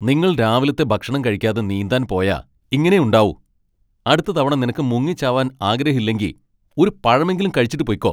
നിങ്ങൾ രാവിലത്തെ ഭക്ഷണം കഴിയ്ക്കാതെ നീന്താൻ പോയാ ഇങ്ങനെയേ ഉണ്ടാവൂ. അടുത്ത തവണ നിനക്ക് മുങ്ങിച്ചാവാൻ ആഗ്രഹം ഇല്ലെങ്കി, ഒരു പഴമെങ്കിലും കഴിച്ചിട്ട് പൊയ്ക്കോ .